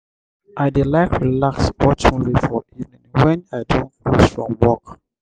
i dey like relax watch movie for evening wen i don close from work.